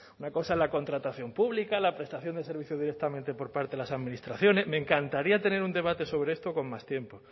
pero una cosa es la contratación pública la prestación del servicio directamente por parte de las me encantaría tener un debate sobre esto con más tiempo